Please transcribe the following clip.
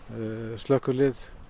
slökkvilið